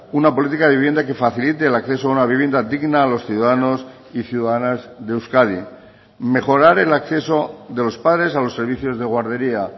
una política de vivienda que facilite el acceso a una vivienda digna a los ciudadanos y ciudadanas de euskadi mejorar el acceso de los padres a los servicios de guardería